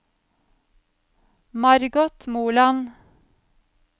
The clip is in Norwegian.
Margot Moland